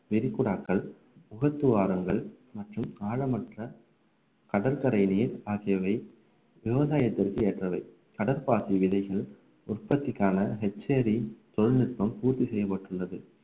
வெரிகுடாக்கள் முகத்துவாரங்கள் மற்றும் ஆழமற்ற கடற்கரையிலேயே ஆகியவை விவசாயத்திற்கு ஏற்றவை கடற்பாசி விதைகள் உற்பத்திக்கான தொழில்நுட்பம் பூர்த்தி செய்யப்பட்டுள்ளது